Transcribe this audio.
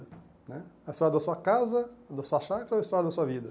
Né A história da sua casa, da sua chácara ou a história da sua vida?